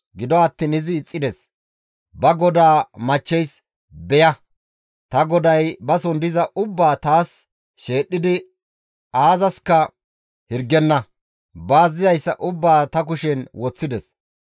Gido attiin izi ixxides; ba godaa machcheys, «Beya! Ta goday bason diza ubbaa taas sheedhdhidi aazaska hirgenna; baas dizayssa ubbaa ta kushen woththides.